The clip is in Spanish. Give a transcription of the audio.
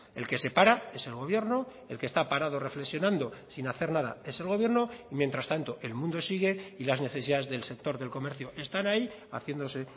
el que se para es el gobierno el que está parado reflexionando sin hacer nada es el gobierno mientras tanto el mundo sigue y las necesidades del sector del comercio están ahí haciéndose